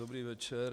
Dobrý večer.